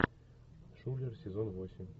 шулер сезон восемь